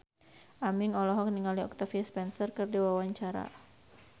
Aming olohok ningali Octavia Spencer keur diwawancara